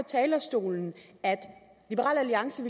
talerstolen at liberal alliance